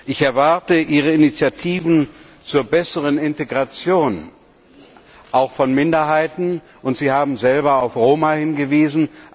Ich erwarte Ihre Initiativen zur besseren Integration auch von Minderheiten und Sie haben selber auf Roma hingewiesen.